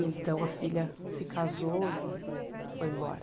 Então, a filha se casou e foi embora.